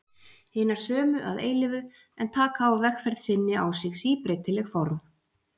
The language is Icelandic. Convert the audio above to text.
Hinar sömu að eilífu, en taka á vegferð sinni á sig síbreytileg form.